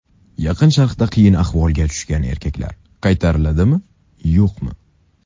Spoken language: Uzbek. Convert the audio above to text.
Yaqin Sharqda qiyin ahvolga tushgan erkaklar qaytariladimi, yo‘qmi?